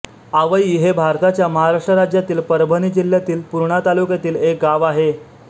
आवई हे भारताच्या महाराष्ट्र राज्यातील परभणी जिल्ह्यातील पूर्णा तालुक्यातील एक गाव आहे